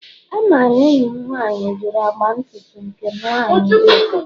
Amara enyim nwanyi juru agba ntutu nke nwanyi wetara